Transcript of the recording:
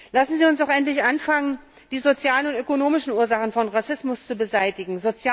Lassen Sie uns doch endlich anfangen, die sozialen und ökonomischen Ursachen von Rassismus zu beseitigen.